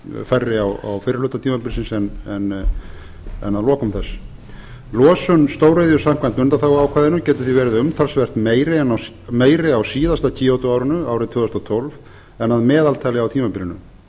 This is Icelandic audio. færri á fyrri hluta tímabilsins en að lokum þess losun stóriðju samkvæmt undanþáguákvæðinu getur því verið umtalsvert meiri á síðasta kyoto árinu árið tvö þúsund og tólf en að meðaltali á tímabilinu